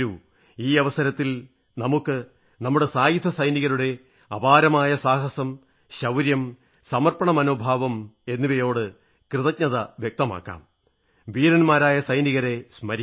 ഈ അവസരത്തിൽ നമുക്ക് നമ്മുടെ സായുധ സൈനികരുടെ അപാരമായ സാഹസം ശൌര്യം സമർപ്പണമനോഭാവത്തോട് കൃതജ്ഞത വ്യക്തമാക്കാം വീരന്മാരായ സൈനികരെ സ്മരിക്കാം